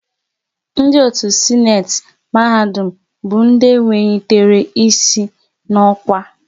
Ndị otu Sịnate mahadum bụ ndị wenyitere ịsị n'okwa